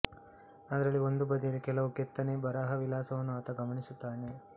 ಅದರಲ್ಲಿ ಒಂದು ಬದಿಯಲ್ಲಿ ಕೆಲವು ಕೆತ್ತನೆ ಬರಹವಿಳಾಸವನ್ನು ಆತ ಗಮನಿಸುತ್ತಾನೆ